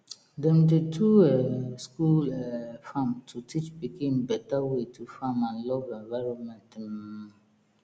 dem dey do um school um farm to teach pikin better way to farm and love environment um